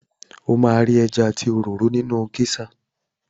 O máa ri ẹja àti òróró nínú géṣà.